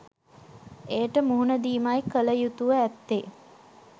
එයට මුහුණ දීමයි කළ යුතුව ඇත්තේ